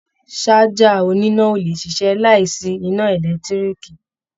Ṣájà oníná ò lè ṣiṣẹ́ láìsí iná ẹ̀lẹ́tíríìkì